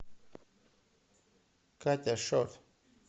катя шот